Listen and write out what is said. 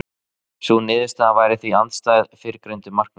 Sú niðurstaða væri því andstæð fyrrgreindu markmiði.